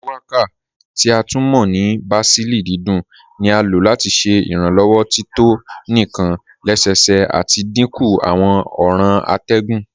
Shuwaka, ti a tún mọ́ ní bàsílì dídùn ní à lọ́ láti ṣẹ́ ìrànlowọ́ tító níkàn lẹ́sẹ́sẹ́ àti dínkú àwọn ọ̀ran àtẹ̀gùn.